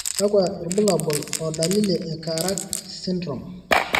kakwa irbulabol o dalili e Karak syndrome?